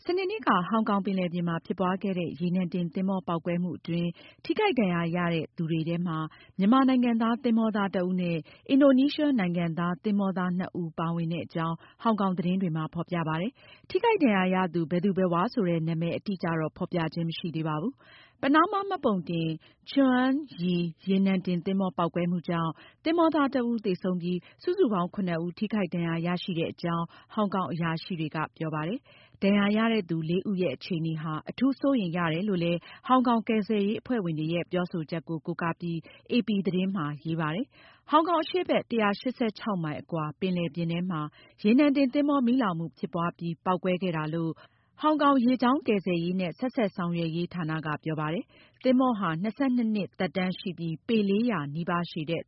စနေနေ့က ဟောင်ကောင် ပင်လယ်ပြင်မှာ ဖြစ်ပွားခဲ့တဲ့ ရေနံတင်သဘောၤ ပေါက်ကွဲမှုအတွင်း ထိခိုက်ဒဏ်ရာရတဲ့သူတွေထဲမှာ မြန်မာနိုင်ငံသား သဘောင်္သား တဦးနဲ့ အင်ဒိုနီးရှား နိုင်ငံသား သင်္ဘောသား နှစ်ဦးပါဝင်တဲ့အကြောင်း ဟောင်ကောင် သတင်းတွေမှာ ဖေါ်ပြပါတယ်။ ထိခိုက်ဒဏ်ရာရသူ ဘယ်သူဘယ်ဝါဆိုတဲ့ နာမည်အတိအကျတော့ ဖေါ်ပြခြင်း မရှိသေးပါဘူး။ ပနားမား မှတ်ပုံတင် Chuang Yi နေနံတင်သင်္ဘော ပေါက်ကွဲမှုကြောင့် သင်္ဘောသား တဦး သေဆုံးပြီး စုစုပေါင်း ၇ ဦး ထိခိုက်ဒဏ်ရာရရှိခဲ့တဲအ့ကြောင်း ဟောင်ကောင် အရာရှိတွေက ပြောပါတယ်။ ဒဏ်ရာရတဲ့ သူ လေးဦးရဲ့ အခြေအနေဟာ အထူး စိုးရိမ်ရတယ်လို့လည်း ဟောင်ကောင် ကယ်ဆယ်ရေးအဖွဲ့ဝင်တွေရဲ့ ပြောဆိုချက်ကို ကိုးကားပြီး AP သတင်းမှာ ရေးပါတယ်။ ဟောင်ကောင် အရှေ့ဘက် ၁၈၆ မိုင် အကွာမှာ ပယ်လယ်ပြင်ထဲမှာ ရေနံ တင် သဘောၤ မီးလောင်မှု ဖြစ်ပွားပြီး ပေါက်ကွဲခဲ့တာလို့ ဟောင်ကောင် ရေကြာင်း ကယ်ဆယ်ရေးနဲ့ ဆက်စပ်ဆောင်ရွက်ရေး ဌာနက ပြောပါတယ်။ သဘောင်္ဟာ ၂၂ နှစ် သက်တမ်းရှိပီး ပေ ၄၀၀ နီးပါး ရှည်တဲ့